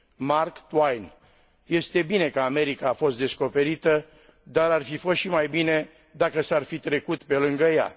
Mark Twain Este bine că America a fost descoperită, dar ar fi fost și mai bine dacă s ar fi trecut pe lângă ea.